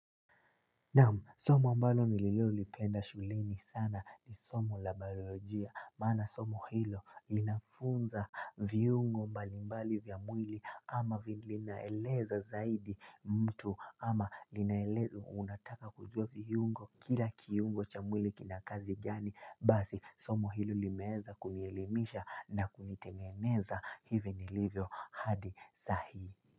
Naam somo mbalo nililolipenda shuleni sana ni somo labarojia, mana somo hilo linafunza viyungo mbalimbali vya mwili ama vilinaeleza zaidi mtu ama linaeleza unataka kujua viyungo kila kiyungo cha mwili kinakazi gani basi somo hilo limeeza kunielimisha na kunitengeneza hivi nilivyo hadi sahi.